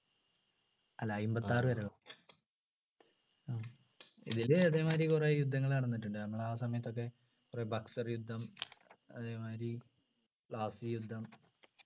അല്ല അമ്പതിആറു വരെ ഇതില് അതെ മാതിരി കുറെ യുദ്ധങ്ങൾ നടന്നിട്ടുണ്ട് നമ്മൾ ആ സമയത്ത് ഒക്കെ കുറെ ബക്സർ യുദ്ധം അതെ മാതിരി യുദ്ധം പ്ലാസി യുദ്ധം